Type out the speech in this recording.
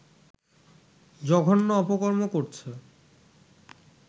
জঘন্য অপকর্ম করছে